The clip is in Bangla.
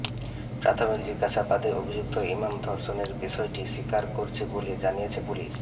প্রাথমিক জিজ্ঞাসাবাদে অভিযুক্ত ইমাম ধর্ষণের বিষয়টি স্বীকার করেছে বলে জানিয়েছে পুলিশ